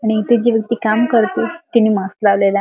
आणि जि इथे काम करती तिने मास्क लावलेला आहे.